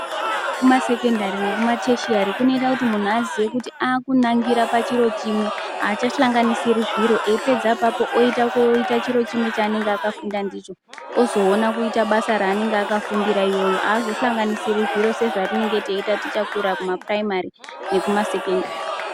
Kufunda kwekumasekondari nekumateshiari kunoita kuti muntu azive kuti akunangiranochiro chimwe achasangansiri zviro wopedza oita ofunda ndichonozoona basa raennenge azosanganisiri zviro sezvatinenge taita takura kumapiraimari nekumasekindari.